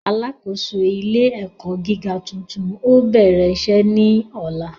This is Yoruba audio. Alákòóso ilé ẹ̀kọ́ gíga tuntun ó bẹ̀rẹ̀ iṣẹ́ ní ọ̀la